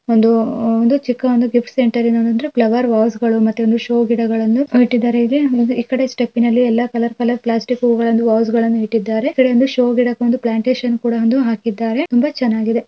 ಒಂದು ಆಹ್ಹ್ ಒಂದು ಚಿಕ್ಕ ಒಂದು ಗಿಫ್ಟ್ ಸೆಂಟರ್ ಇದೆ ಏನು ಅಂದ್ರೆ ಫ್ಲವರ್ ವಾಸ್ಗಳು ಮತ್ತೆ ಒಂದು ಷೋ ಗಿಡಗಳನ್ನು ಇಟ್ಟಿದ್ದಾರೆ ಇಲ್ಲಿ ಆಮೇಲೆ ಈ ಕಡೆ ಸೆಪ್ಪಿನಲ್ಲಿ ಎಲ್ಲಾ ಕಲರ್ ಕಲರ್ ಪ್ಲಾಸ್ಟಿಕ್ ಹೂಗಳನ್ನು ವಾಸಗಳನ್ನು ಇಟ್ಟಿದ್ದಾರೆ ಈ ಕಡೆಯಿಂದ ಶೋ ಗಿಡಕ್ಕೆ ಒಂದು ಪ್ಲಾಂಟೇಷನ್ ಕೂಡ ಒಂದು ಹಾಕಿದ್ದಾರೆ.